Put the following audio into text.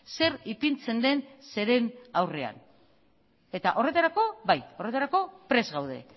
zer ipintzen den zeren aurrean horretarako bai horretarako prest gaude